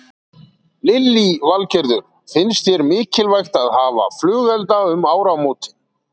Lillý Valgerður: Finnst þér mikilvægt að hafa flugelda um áramótin?